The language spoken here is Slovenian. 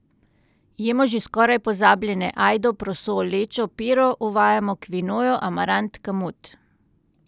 Jemo že skoraj pozabljene ajdo, proso, lečo, piro, uvajamo kvinojo, amarant, kamut ...